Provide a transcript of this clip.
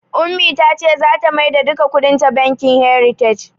Ummi ta ce zata maida duka kuɗinta bankin "heritage".